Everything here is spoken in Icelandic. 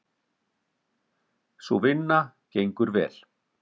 Sú vinna gengur vel.